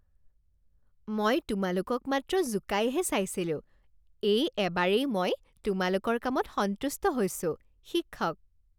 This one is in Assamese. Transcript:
মই তোমালোকক মাত্ৰ জোকাইহে চাইছিলোঁ। এই এবাৰেই মই তোমালোকৰ কামত সন্তুষ্ট হৈছোঁ শিক্ষক